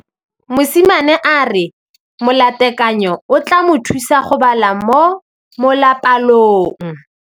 Mosimane a re molatekanyô o tla mo thusa go bala mo molapalong.